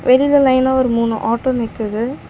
வெளியில லைனா ஒரு மூணு ஆட்டோ நிக்குது.